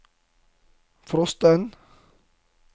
frosten